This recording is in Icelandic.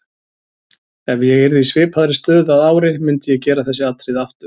Ef ég yrði í svipaðri stöðu að ári myndi ég gera þessi atriði aftur.